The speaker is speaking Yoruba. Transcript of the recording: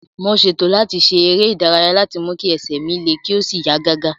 mo ṣètò láti ṣe eré ìdárayá láti mú kí ẹsẹ̀ mi le kí ó sì yá gágá